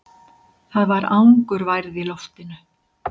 Það var angurværð í loftinu.